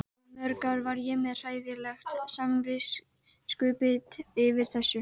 Í mörg ár var ég með hræðilegt samviskubit yfir þessu.